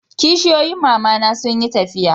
kishiyoyin mama na sun yi tafiya